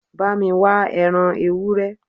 Bámi wá ẹran ewúrẹ́